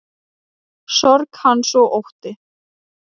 Sorg hans og ótti.